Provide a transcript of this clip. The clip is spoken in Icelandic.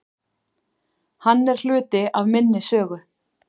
Hann er hluti af minni sögu.